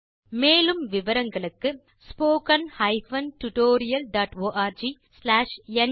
மேற்கொண்டு விவரங்கள் வலைத்தளத்தில் கிடைக்கும்